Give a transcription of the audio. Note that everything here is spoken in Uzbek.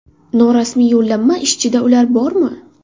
Norasmiy yollanma ishchida ular bormi?